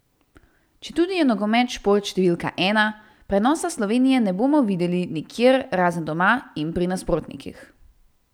Četudi je nogomet šport številka ena, prenosa Slovenije ne bomo videli nikjer razen doma in pri nasprotnikih.